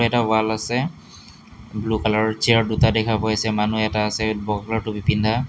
এটা ৱাল আছে ব্লু কালাৰৰ চেয়াৰ দুটা দেখা পাইছে মানুহ এটা আছে বগা কালাৰৰ টুপী পিন্ধা।